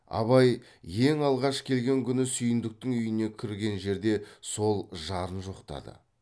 абай ең алғаш келген күні сүйіндіктің үйіне кірген жерде сол жарын жоқтады